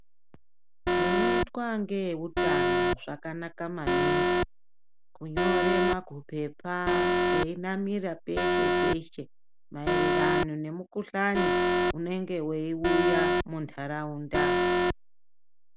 Zvinotwa ngee utano zvakanaka maningi kunyore makupepa ei namira peshe peshe maererano nemu kuhlani unenge wei uya mu ndaraunda.